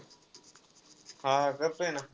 हा, करतोय ना.